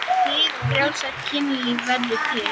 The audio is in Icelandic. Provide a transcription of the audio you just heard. Hið frjálsa kynlíf verður til.